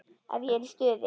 Ef ég er í stuði.